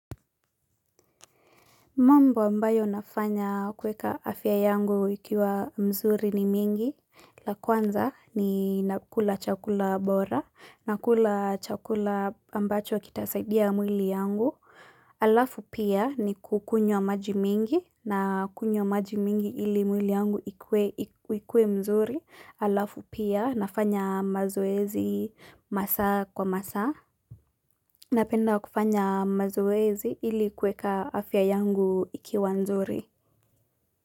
Mambo ambayo nafanya kuweka afya yangu ikiwa mzuri ni mingi, la kwanza ni nakula chakula bora, nakula chakula ambacho kitasaidia mwili yangu, alafu pia ni kukunywa maji mingi na kunywa maji mingi ili mwili yangu ikuwe ikue mzuri, alafu pia nafanya mazoezi masaa kwa masaa. Napenda kufanya mazoezi ili kuweka afya yangu ikiwa nzuri.